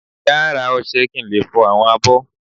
Ìyá a rá ọṣẹ kí n le fọ awọn abó.